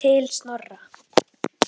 Til Snorra.